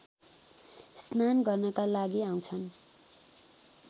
स्नान गर्नका लागि आउँछन्